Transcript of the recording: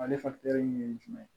Ale ye jumɛn ye